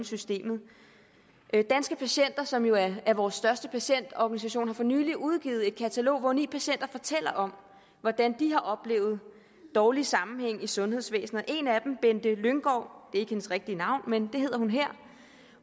systemet danske patienter som jo er vores største patientorganisation har for nylig udgivet et katalog hvor ni patienter fortæller om hvordan de har oplevet dårlig sammenhæng i sundhedsvæsenet en af dem bente lynggaard det er ikke hendes rigtige navn men det hedder